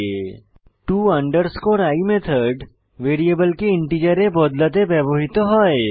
to i method ভ্যারিয়েবলকে ইন্টিজারে বদলাতে ব্যবহৃত হয়